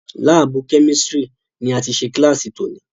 Lábùù Kẹ́místrì ni a ti ṣe kílàsì tòní.